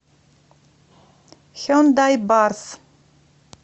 хендай барс